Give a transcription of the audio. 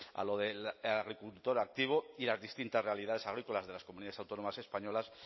a lo del agricultor activo y a las distintas realidades agrícolas de las comunidades autónomas españolas